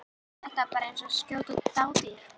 Þetta var bara eins og að skjóta dádýr.